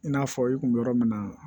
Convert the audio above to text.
I n'a fɔ i kun mi yɔrɔ min na